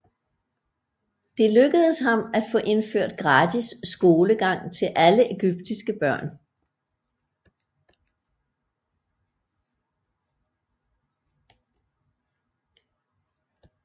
Det lykkedes ham at få indført gratis skolegang til alle egyptiske børn